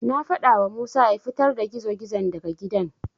Na faɗawa Musa ya fitar da gizo-gizon daga gidan.